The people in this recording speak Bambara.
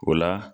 O la